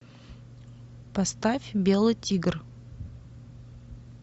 поставь белый тигр